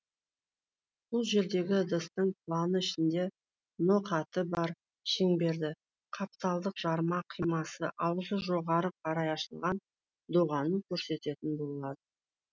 бұл жердегі ыдыстың планы ішінде ноқаты бар шеңберді қапталдық жарма қимасы аузы жоғары қарай ашылған доғаны көрсететін болад